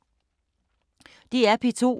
DR P2